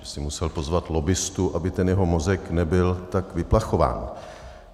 Že si musel pozvat lobbistu, aby ten jeho mozek nebyl tak vyplachován.